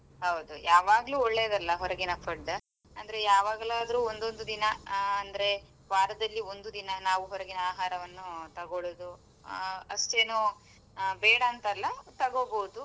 ಹೌದು ಯಾವಾಗ್ಲೂ ಒಳ್ಳೆಯದಲ್ಲ ಹೊರಗಿನ food ಅಂದ್ರೆ ಯಾವಾಗ್ಲಾರ್ದ್ರು ಒಂದೊಂದು ದಿನ ಆ ಅಂದ್ರೆ ವಾರದಲ್ಲಿ ಒಂದು ದಿನ ನಾವು ಹೊರಗಿನ ಆಹಾರವನ್ನು ತಗೊಳುದು ಆ ಅಷ್ಟೇನೂ ಆ ಬೇಡಾಂತಲ್ಲಾ ತಗೋಬೋದು.